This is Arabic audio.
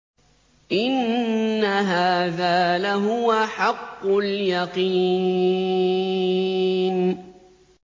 إِنَّ هَٰذَا لَهُوَ حَقُّ الْيَقِينِ